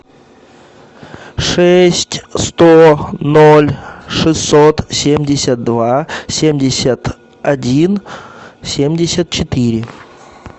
шесть сто ноль шестьсот семьдесят два семьдесят один семьдесят четыре